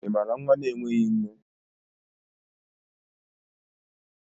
ị maara nwa na-enweghị nne?